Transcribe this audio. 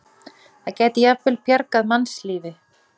Það gæti jafnvel bjargað mannslífi.